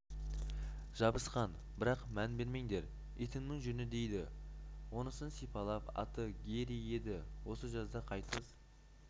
жабысқан бірақ мән бермеңдер итімнің жүні дейді онысын сипалап аты гэри еді осы жазда қайтыс